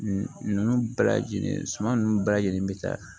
Ninnu bɛɛ lajɛlen suma nunnu bɛɛ lajɛlen be taa